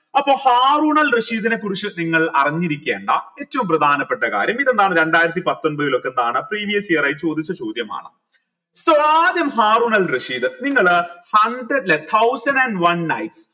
അപ്പൊ ഹാറൂനൽ റഷീദ് നെ കുറിച്ച് നിങ്ങൾ അറിഞ്ഞിരിക്കേണ്ട ഏറ്റവും പ്രധാനപ്പെട്ട കാര്യം ഇതെന്താണ് രണ്ടായിരത്തി പത്തൊമ്പതിൽ ഒക്കെ previous year ആയി ചോദിച്ച ചോദ്യമാണ് so ആദ്യം ഹാറൂനൽ റഷീദ് നിങ്ങൾ thousand and one